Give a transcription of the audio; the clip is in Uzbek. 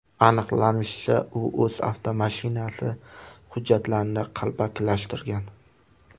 Aniqlanishicha, u o‘z avtomashinasi hujjatlarini qalbakilashtirgan.